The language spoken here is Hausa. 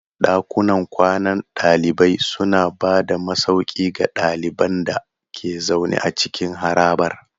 Ɗakunan kwanan ɗalibai suna ba da masauki ga ɗaliban da ke zaune a cikin harabar.